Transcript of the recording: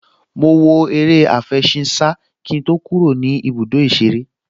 Mo wo eré àfẹṣinsá kí n tó kúrò ní ibùdó ìṣeré